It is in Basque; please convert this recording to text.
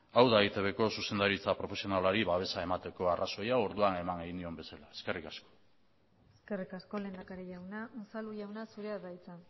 hau da eitbko zuzendaritza profesionalari babesa emateko arrazoia orduan eman nahi genion bezala eskerrik asko eskerrik asko lehendakari jauna unzalu jauna zurea da hitza